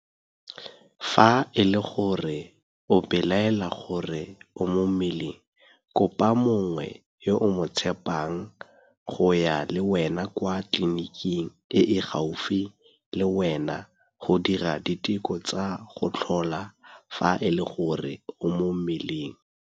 Fa e le gore o belaela gore o mo mmeleng, kopa mongwe yo o mo tshepang go ya le wena kwa tleliniking e e gaufi le wena go dira diteko tsa go tlhola fa e le gore o mo mmeleng.